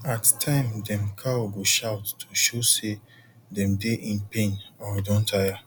at time dem cow go shout to show sey dem dey in pain or don tire